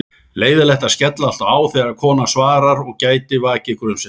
Leiðinlegt að skella alltaf á þegar konan svarar og gæti vakið grunsemdir.